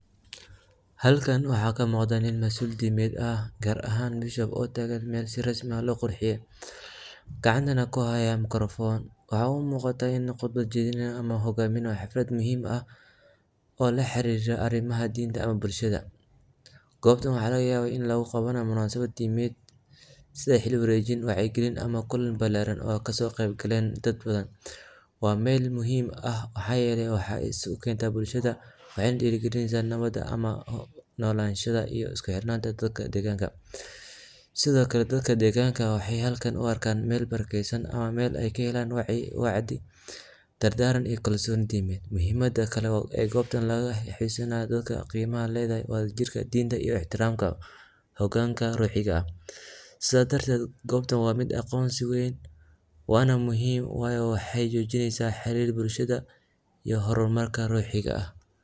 Halkan waxaa kamuqada nin masul dimeed ah gar ahan mesha si quruxsan lo qurxiye gacantana kuhaya makarafon oo muqata in u qodba jedhini hayo oo hogaminayo xalfaad muhiim ah oo laxirira arimaha deneed ee bulshaada gobtan waxaa laga yawa in lagu qawanayo munasabaad dimeed sitha wacyi gilin balaran oo kaso qeb galen masuliyaad badan meel muhiim ah waxaa yele waxee isku kentaa bulshaada, sithokale dadka deganka waxee kahelan wacya galin, gobtan waa miid aqonsi weyn wana muhiim wayo waxee arki jiraa xirir bulshaada iyo hormarka ruxiga ah.